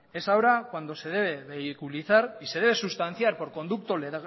es ahora cuando se debe y se debe sustanciar por conduzco